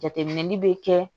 Jateminɛli bɛ kɛ